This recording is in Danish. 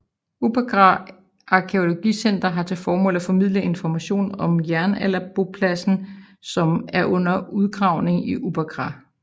Uppåkra Arkæologiske Center har til formål at formidle information om jernalderbopladsen som er under udgravning i Uppåkra